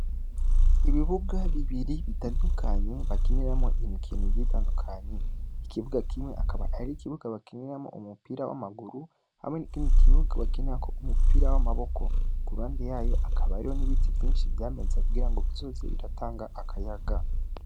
Ibibuga, Bibiri bitandukanye, Bakiniramwo Imikino igiye itandukanye, ikibuga kimwe akaba Ari ikibuga Bakiniramwo umupira w'Amaguru, hamwe nikindi kibuga Bakiniramwo umupira w'Amaboko. Kuruhande yayo hakaba hariyo n'ibiti vyinshi Vyameze kugira bizoze biratanga Akayaga.